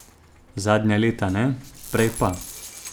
Zadnja leta ne, prej pa.